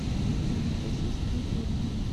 афина россииские фильмы